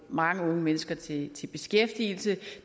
mange unge mennesker til beskæftigelse